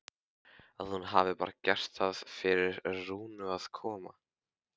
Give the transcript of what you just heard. Að hún hafi bara gert það fyrir Rúnu að koma.